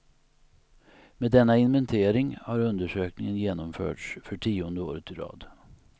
Med denna inventering har undersökningen genomförts för tionde året i rad.